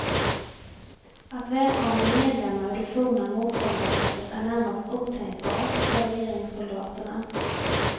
Att välkomna medlemmar ur det forna motståndarlägret är närmast otänkbart för regeringssoldaterna.